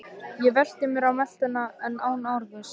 Ég velti mér á meltuna en án árangurs.